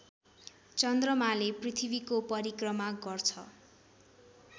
चन्द्रमाले पृथ्वीको परिक्रमा गर्छ